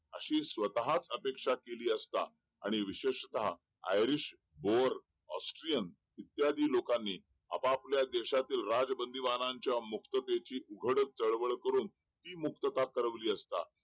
अशी स्वतःच अपेक्षा केली असता आणि विशेषतः आयरिश, बोअर, ऑस्ट्रियन इत्यादी लोकांनी आपापल्या देशातील राजबंदीवानांच्या मुक्ततेची उघड चळवळ करून ती मुक्तता करवली असता